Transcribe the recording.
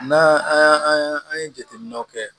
N'an an ye jateminɛw kɛ